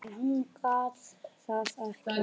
En hún gat það ekki.